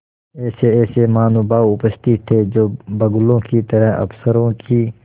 ऐसेऐसे महानुभाव उपस्थित थे जो बगुलों की तरह अफसरों की